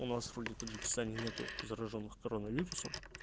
у нас вроде в таджикистане нету заражённых коронавирусом